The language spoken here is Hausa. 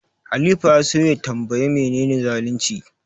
Halifa ya so ya tanbayi menene zalunci.